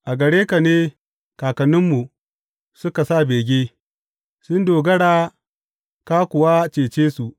A gare ka ne kakanninmu suka sa bege; sun dogara ka kuwa cece su.